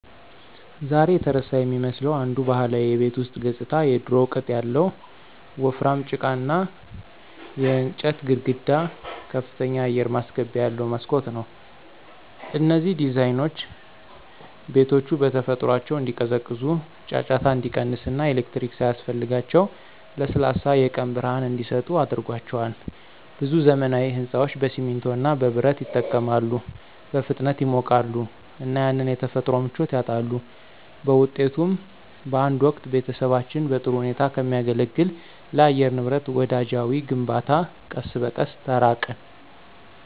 ዛሬ የተረሳ የሚመስለው አንዱ ባህላዊ የቤት ውስጥ ገጽታ የድሮው ቅጥ ያለው ወፍራም ጭቃና የእንጨት ግድግዳ ከፍተኛ አየር ማስገቢያ ያለው መስኮት ነው። እነዚህ ዲዛይኖች ቤቶቹ በተፈጥሯቸው እንዲቀዘቅዙ፣ ጫጫታ እንዲቀንስ እና ኤሌክትሪክ ሳያስፈልጋቸው ለስላሳ የቀን ብርሃን እንዲሰጡ አድርጓቸዋል። ብዙ ዘመናዊ ሕንፃዎች በሲሚንቶ እና በብረት ይጠቀማሉ, በፍጥነት ይሞቃሉ እና ያንን የተፈጥሮ ምቾት ያጣሉ. በውጤቱም፣ በአንድ ወቅት ቤተሰቦችን በጥሩ ሁኔታ ከሚያገለግል ለአየር ንብረት ወዳጃዊ ግንባታ ቀስ በቀስ ተራቅን።